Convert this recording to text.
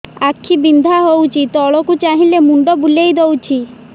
ଆଖି ବିନ୍ଧା ହଉଚି ତଳକୁ ଚାହିଁଲେ ମୁଣ୍ଡ ବୁଲେଇ ଦଉଛି